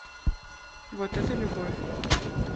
вот это любовь